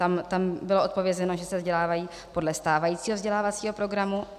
Tam bylo odpovězeno, že se vzdělávají podle stávajícího vzdělávacího programu.